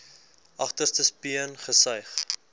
agterste speen gesuig